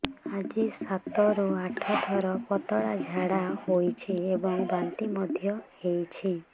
ଆଜି ସାତରୁ ଆଠ ଥର ପତଳା ଝାଡ଼ା ହୋଇଛି ଏବଂ ବାନ୍ତି ମଧ୍ୟ ହେଇଛି